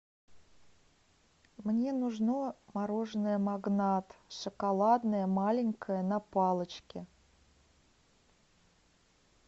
мне нужно мороженое магнат шоколадное маленькое на палочке